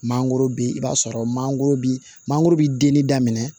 Mangoro bi i b'a sɔrɔ mangoro bi mangoro bi denni daminɛ